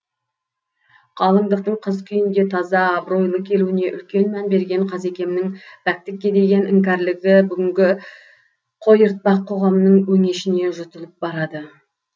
қалыңдықтың қыз күйінде таза абыройлы келуіне үлкен мән берген қазекемнің пәктікке деген іңкәрлігі бүгінгі қойыртпақ қоғамның өңешіне жұтылып барады